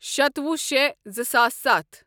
شتوُہ شےٚ زٕساس ستھ